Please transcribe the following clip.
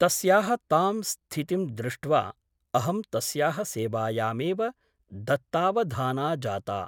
तस्याः तां स्थितिं दृष्ट्वा अहं तस्याः सेवायामेव दत्तावधाना जाता ।